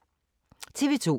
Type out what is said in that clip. TV 2